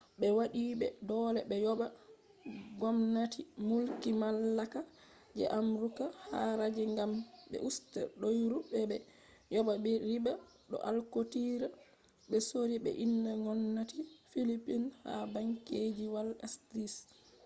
be wadi be dole be yoba gomnati mulki mallaka je amurka haraji gam be usta doyru bo be yoba riba do alkootira be sorri be inde gomnati phillipines ha bankiji wall street